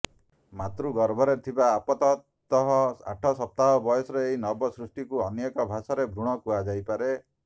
ମାତୃଗର୍ଭରେ ଥିବା ଆପାତତଃ ଆଠ ସପ୍ତାହ ବୟସର ଏହି ନବ ସୃଷ୍ଟିକୁ ଅନ୍ୟ ଏକ ଭାଷାରେ ଭ୍ରୁଣ କୁହାଯାଇପାରେ